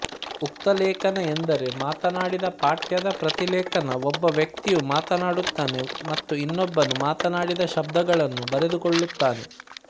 ಉಕ್ತಲೇಖನ ಎಂದರೆ ಮಾತನಾಡಿದ ಪಠ್ಯದ ಪ್ರತಿಲೇಖನ ಒಬ್ಬ ವ್ಯಕ್ತಿಯು ಮಾತನಾಡುತ್ತಾನೆ ಮತ್ತು ಇನ್ನೊಬ್ಬನು ಮಾತನಾಡಿದ ಶಬ್ದಗಳನ್ನು ಬರೆದುಕೊಳ್ಳುತ್ತಾನೆ